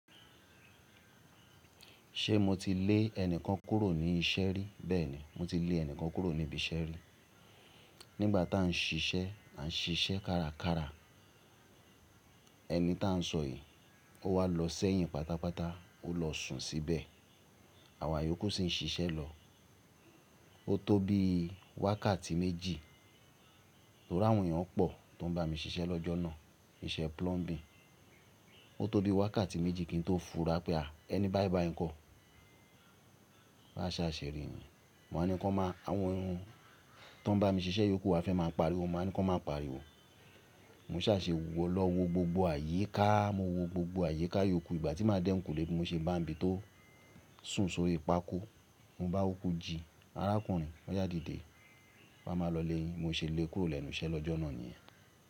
Ṣé mo ti lé ẹnìkan kúrò ní iṣẹ́ rí? Bẹ́ẹ̀ni, mo ti lé ẹnìkan kúrò ní ibi iṣẹ́ rí. Nígbà tá ń ṣiṣẹ́, ta ń ṣiṣẹ́ kárakára. Ẹni tá ń sọ̀yìí, ó wá lọ sẹ́yìn pátápátá, ó lọ sùn síbẹ̀. Àwa ìyókù sì ń ṣiṣẹ́ lọ. Ó tó bí wákàtí méjì, tori àwọn èèyàn pọ̀ tó ń bá mi ṣiṣẹ́ lọ́jọ́ náà, iṣẹ́ plumbing. Ó tó bí wákàtí méjì kí n tó fura pé à, ẹni báyi báyii n kọ́. Bá ṣà ṣe ri niyen, màá ní kó máa, àwọn èèyàn tó ń bá mi ṣiṣẹ́ ìyókù wa fẹ́ máa pariwo, mo wa ní kó máa pariwo. Mo ṣà se wọ̀, mo lọ wo gbogbo àyíká, mo wo gbogbo àyíká ìyókù. Ìgbà tí máa dẹ́ eyinkulè, mo ṣe bá nbi tó sùn sórí pákó, mo bá wo, mo jí. Arákùnrin, o ya didé, wa máa lọ ilé yìn, bi mo ṣè lé kurò lẹ́nu iṣẹ́ lọ́jọ́ náà niyẹn.